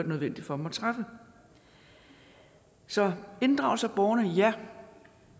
nødvendigt for dem at træffe så inddragelse af borgerne ja